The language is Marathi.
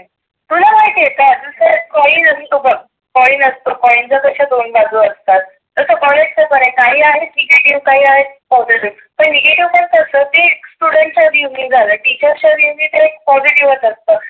तुला माहिती आहे का आजुन एक कॉइन असतो बघ कॉइन असतो कॉइन त्याच्या कशा दोन बाजु असतात. तसं कॉलेज च पण आहे. काही आहे निगेटिव्ह काही आहे positive पणनिगेटिव्ह कसं असतात ते students असतात. टीचर्स positive असतात बघ.